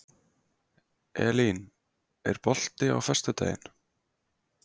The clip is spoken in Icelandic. Elín, er bolti á föstudaginn?